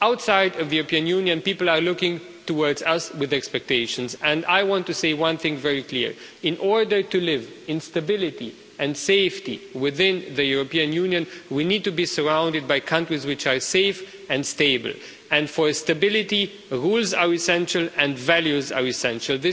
Outside of the European Union, people are looking towards us with expectations and I want to say one thing very clearly in order to live in stability and safety within the European Union, we need to be surrounded by countries which are safe and stable, and for stability, rules are essential and values are essential.